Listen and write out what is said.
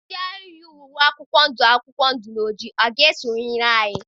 Ndị ahụ yi uwe akwụkwọ ndụ akwụkwọ ndụ na ojii ga-esonyere anyị?